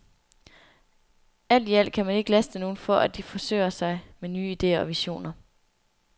Alt i alt kan man ikke laste nogen for, at de forsøger sig med nye idéer og visioner.